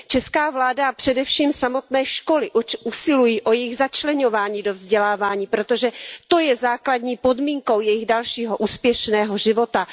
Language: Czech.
Česká vláda, především samotné školy usilují o jejich začleňování do vzdělávání, protože to je základní podmínkou jejich dalšího úspěšného života.